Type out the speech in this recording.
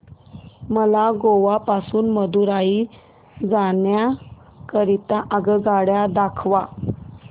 मला गोवा पासून मदुरई जाण्या करीता आगगाड्या दाखवा